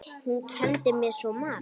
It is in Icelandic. Hún kenndi mér svo margt.